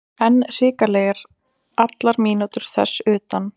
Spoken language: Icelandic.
En hrikalegir allar mínútur þess utan.